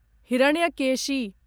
Hiranyakeshi